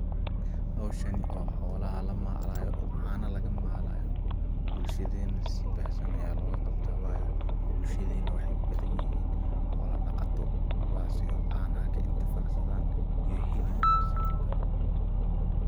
Xowshaan oo xolaxa lamalayo oo cana lagamalayo, bulshadena si baahsan aya logaqabta wayo, bulshadena waxay ubadanyixiin xoola daqato, kuwasi oo canaxa kaintifacsadhan iyo xilibbaa.